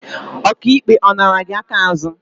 Ọka ikpe, ọ nara gị aka azụ?